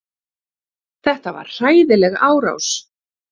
Þetta var hræðileg árás.